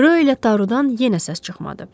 Rö ilə Tarudan yenə səs çıxmadı.